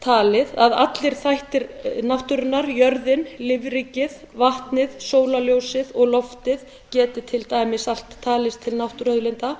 talið að allir þættir náttúrunnar jörðin lífríkið vatnið sólarljósið og loftið geti til dæmis allt talist til náttúruauðlinda